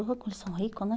Eles são ricos, né?